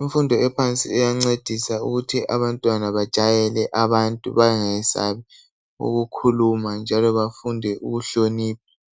Imfundo ephansi iyancedisa ukuthi abantwana bajayele abantu bangayesabi ukukhuluma njalo bafunde ukuhlonipha.